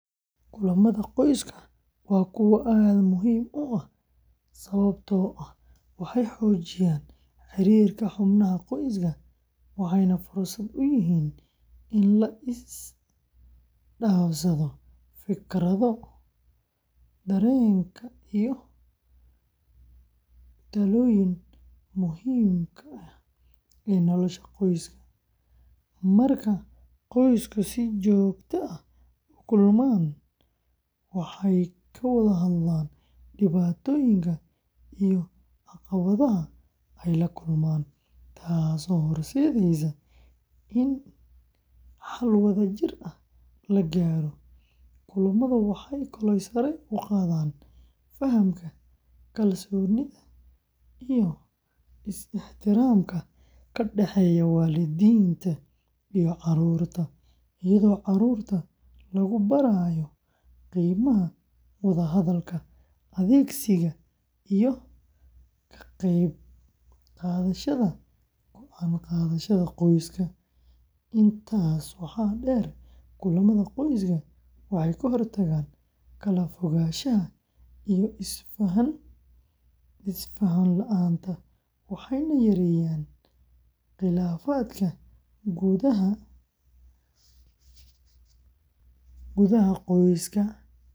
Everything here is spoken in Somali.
Kulamada qoyska waa kuwo aad muhiim u ah sababtoo ah waxay xoojiyaan xiriirka xubnaha qoyska, waxayna fursad u yihiin in la isdhaafsado fikradaha, dareenka iyo talooyinka muhiimka ah ee nolosha qoyska. Marka qoyska si joogto ah u kulmaan, waxay ka wada hadlaan dhibaatooyinka iyo caqabadaha ay la kulmaan, taasoo horseedaysa in xal wadajir ah la gaaro. Kulamadu waxay kaloo sare u qaadaan fahamka, kalsoonida iyo is-ixtiraamka ka dhexeeya waalidiinta iyo carruurta, iyadoo carruurta lagu barayo qiimaha wada hadalka, dhegeysiga, iyo ka qeyb qaadashada go'aan qaadashada qoyska. Intaas waxaa dheer, kulamada qoyska waxay ka hortagaan kala fogaanshaha iyo is faham la’aanta, waxayna yareeyaan khilaafaadka gudaha qoyska.